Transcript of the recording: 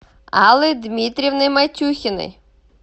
аллой дмитриевной матюхиной